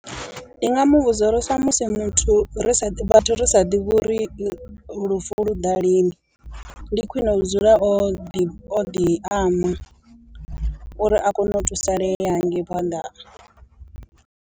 Ndi nga muvhudza uri sa musi muthu ri sa ḓi vhathu ri sa ḓivhi uri lufu lu ḓa lini, ndi khwine u dzula o ḓi o ḓi ama uri a kone u thusalea hangei phanḓa.